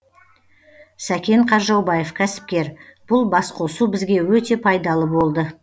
сәкен қаржаубаев кәсіпкер бұл басқосу бізге өте пайдалы болды